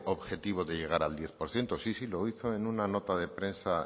objetivo de llegar al diez por ciento sí lo hizo en una nota de prensa